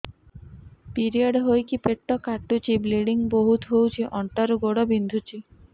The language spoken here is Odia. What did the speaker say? ପିରିଅଡ଼ ହୋଇକି ପେଟ କାଟୁଛି ବ୍ଲିଡ଼ିଙ୍ଗ ବହୁତ ହଉଚି ଅଣ୍ଟା ରୁ ଗୋଡ ବିନ୍ଧୁଛି